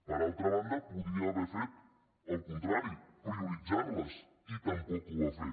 per altra banda podia haver fet el contrari prioritzar les i tampoc ho va fer